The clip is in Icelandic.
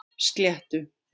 Sléttu